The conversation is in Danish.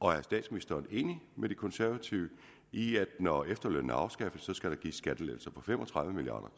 og er statsministeren enig med de konservative i at når efterlønnen afskaffes skal der gives skattelettelser på fem og tredive milliard